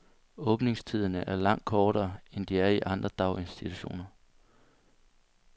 Åbningstiderne er langt kortere, end de er i andre daginstitutioner.